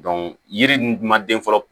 yiri ninnu dun ma den fɔlɔ